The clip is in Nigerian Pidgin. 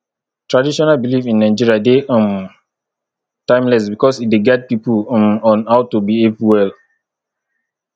traditional belief in nigeria de um timeless because e de guide pipo um on how to behave well